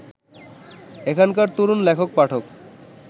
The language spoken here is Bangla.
এখনকার তরুণ লেখক-পাঠক